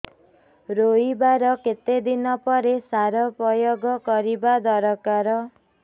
ରୋଈବା ର କେତେ ଦିନ ପରେ ସାର ପ୍ରୋୟାଗ କରିବା ଦରକାର